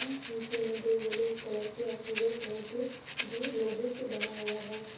नीचे में दो येलो कलर के और सिल्वर कलर के गेट लोहे से बना हुआ है।